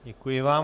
Děkuji vám.